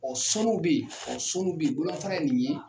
Ɔ sɔnuw be ye ɔ sɔnuw be ye bolomafara ye nin ye